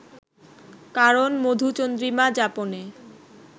কারণ মধুচন্দ্রিমা যাপনে